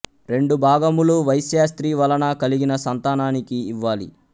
రెండు భాగములు వైశ్య స్త్రీ వలన కలిగిన సంతానానికి ఇవ్వాలి